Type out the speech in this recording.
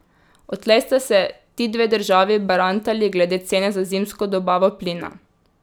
Odtlej sta se ti dve državi barantali glede cene za zimsko dobavo plina.